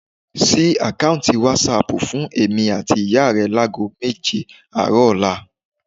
Ṣí àkáùntì wásáaàpù fún èmi àti ìyá rẹ láago méje àárọ̀ ọ̀la